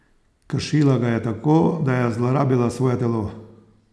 Kršila ga je tako, da je zlorabila svoje telo.